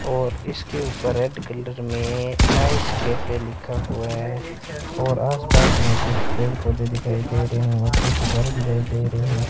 और इसके ऊपर रेड कलर में नाईस कैफे लिखा हुआ है और आसपास में कुछ पेड़ पौधे दिखाई दे रहे हैं और कुछ घर दिखाई दे रहे हैं।